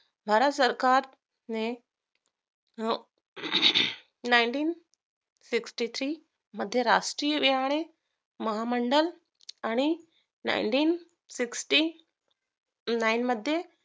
भारत सरकारने nineteen sixty three मध्ये राष्ट्रीय रिहाने महामंडळ आणि nineteen sixty nine मध्ये